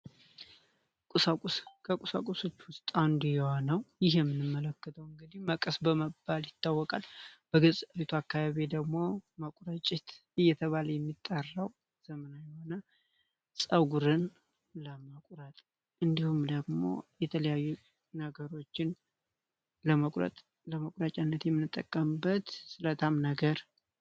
ቁሳቁስ ከቁሳቁሶቹ ውስጥ አንዱ የሆነው ለመቁረጥ የሚያገለግለው መቀስ በመባል ይታወቃል በገጠሩ አካባቢ ደግሞ መቆረጭት እየተባለ የሚጠራው ጸጉርን ለመቁረጥ እንዲሁም ደግሞ የተለያዩ ነገሮችን ለመቁረጫነት የምንጠቀምበት ስለታም ነገር ነው።